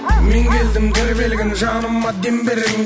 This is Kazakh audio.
мен келдім тербелген жаныма дем бергін